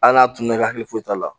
Hali n'a tununa i ka hakili foyi t'a la